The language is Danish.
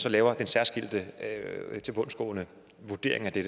at lave en særskilt og tilbundsgående vurdering af det